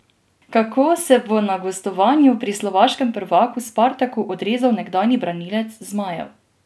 Kako se bo na gostovanju pri slovaškem prvaku Spartaku odrezal nekdanji branilec zmajev?